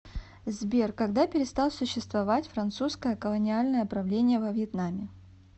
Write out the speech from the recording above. сбер когда перестал существовать французское колониальное правление во вьетнаме